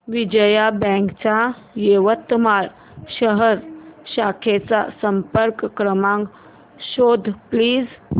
Vijaya bank च्या यवतमाळ शहर शाखेचा संपर्क क्रमांक शोध प्लीज